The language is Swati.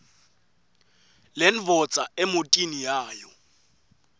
lendvodza emotini yayo